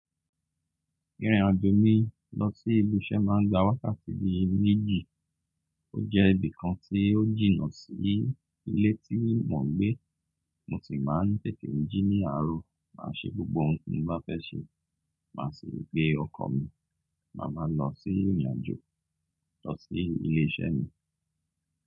Ìrìn àjò mi lọsí ibi iṣẹ́ máa ń gba wákàtí bí méjì. Ó jẹ́ ibi kan tí ó jìnà sí ilé tí mò ń gbé. Mo sì máa ń tẹtè ń jí ní àárọ̀, máa ṣe gbogbo ohun tí mó bá fẹ́ ṣe. Màá sì rí pé ọkọ̀ mi, máa máa lọ sí ìrìn-àjò, lọ sí ilé-iṣẹ́ mi.